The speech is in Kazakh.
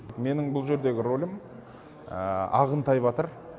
менің бұл жердегі ролім ағынтай батыр